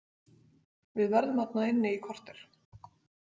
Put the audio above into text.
Við verðum þarna inni í kortér.